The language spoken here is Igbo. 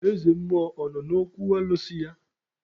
Eze mmụọ ọ nọ n'okwu alụsị ya?